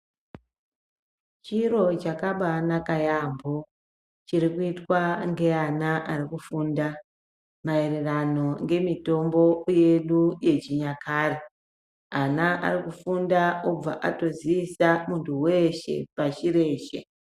Chiro chakabaanaka yaambo chirikuitwa ngevana vari kufunda maererano nemitombo yedu yechinyakare ,ana arikufunda obva atozivisa muntu weshe pasi reshe.